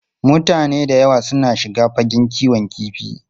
Mutane da yawa suna shiga fagen kiwon kifi.